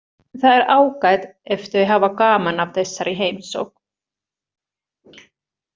Það er ágætt ef þau hafa gaman af þessari heimsókn.